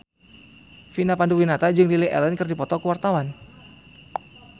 Vina Panduwinata jeung Lily Allen keur dipoto ku wartawan